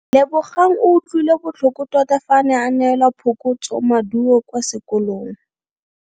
Lebogang o utlwile botlhoko tota fa a neelwa phokotsomaduo kwa sekolong.